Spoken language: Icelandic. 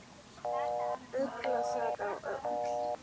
Ugla sat á öxl.